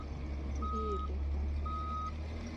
белева